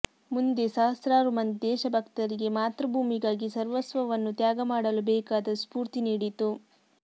ಮುಂದೆ ಸಹಸ್ರಾರು ಮಂದಿ ದೇಶಭಕ್ತರಿಗೆ ಮಾತೃಭೂಮಿಗಾಗಿ ಸರ್ವಸ್ವವನ್ನೂ ತ್ಯಾಗ ಮಾಡಲು ಬೇಕಾದ ಸ್ಫೂರ್ತಿ ನೀಡಿತು